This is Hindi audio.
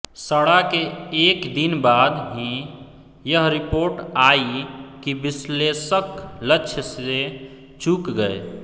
षणा के एक दिन बाद ही यह रिपोर्ट आयी कि विश्लेषक लक्ष्य से चूक गए